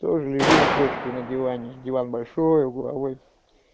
тоже лежим с дочкой на диване диван большой угловой